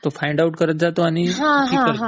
तो फाइंडआऊट करत जातो आणि ठीक करत जातो